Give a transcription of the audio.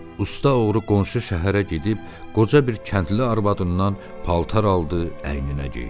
Usta oğru qonşu şəhərə gedib qoca bir kəndli arvadından paltar aldı, əyninə geydi.